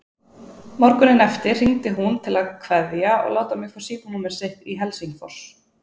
Morguninn eftir hringdi hún til að kveðja og láta mig fá símanúmer sitt í Helsingfors.